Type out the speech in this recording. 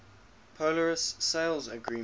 polaris sales agreement